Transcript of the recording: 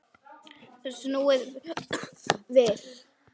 Snúið við.